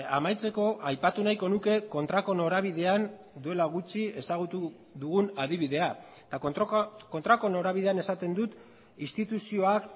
amaitzeko aipatu nahiko nuke kontrako norabidean duela gutxi ezagutu dugun adibidea eta kontrako norabidean esaten dut instituzioak